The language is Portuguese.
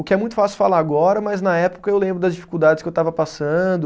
O que é muito fácil falar agora, mas na época eu lembro das dificuldades que eu estava passando.